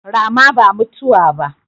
Rama ba mutuwa ba